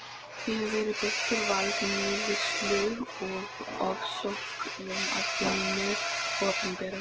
Ég hef verið beittur valdníðslu og ofsóknum af hinu opinbera.